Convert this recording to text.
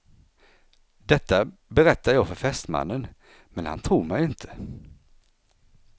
Detta berättar jag för fästmannen, men han tror mig inte.